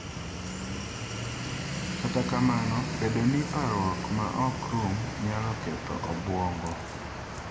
Kata kamano, bedo gi parruok ma ok rum nyalo ketho obwongo.